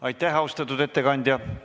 Aitäh, austatud ettekandja!